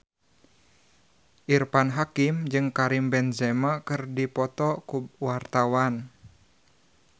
Irfan Hakim jeung Karim Benzema keur dipoto ku wartawan